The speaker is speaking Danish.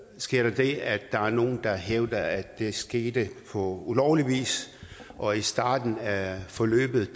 skete der det at der var nogle der hævdede at det skete på ulovlig vis og i starten af forløbet